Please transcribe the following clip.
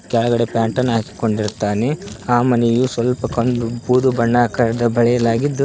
ಕೆಳಗಡೆ ಪ್ಯಾಂಟನ್ನು ಹಾಕಿಕೊಂಡಿರುತ್ತಾನೆ ಆ ಮನೆಯು ಸ್ವಲ್ಪ ಕಂದು ಬೂದು ಬಣ್ಣ ಆಕಾರದ ಬಳಿಯಲಾಗಿದ್ದು--